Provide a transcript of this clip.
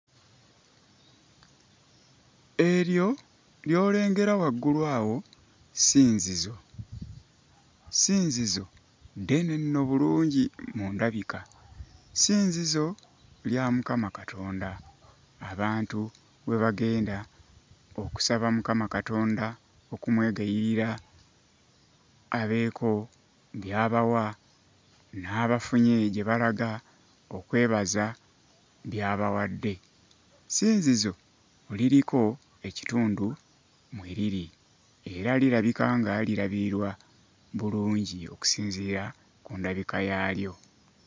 Eryo ly'olengera waggulu awo ssinzizo, ssinzizo ddene nno bulungi mu ndabika, ssinzizo lya Mukama Katonda, abantu mwe bagenda okusaba Mukama Katondo okumwegayirira abeeko by'abawa n'abafunye gye balaga okwebaza by'abawadde, ssinzizo liriko ekitundu mwe liri era lirabika nga lirabirirwa bulungi okusinziira ku ndabika yaalyo.